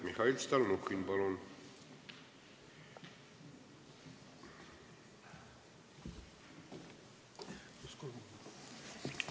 Mihhail Stalnuhhin, palun!